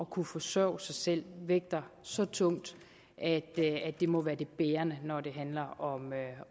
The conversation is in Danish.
kunne forsørge sig selv vægter så tungt at det må være det bærende når det handler om